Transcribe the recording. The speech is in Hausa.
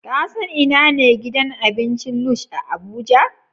Ka san ina ne gidan abincin Lush a Abuja?